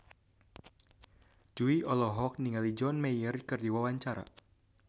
Jui olohok ningali John Mayer keur diwawancara